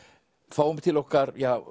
fáum til okkar